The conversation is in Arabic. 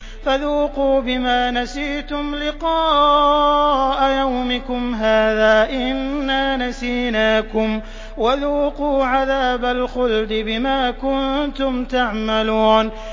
فَذُوقُوا بِمَا نَسِيتُمْ لِقَاءَ يَوْمِكُمْ هَٰذَا إِنَّا نَسِينَاكُمْ ۖ وَذُوقُوا عَذَابَ الْخُلْدِ بِمَا كُنتُمْ تَعْمَلُونَ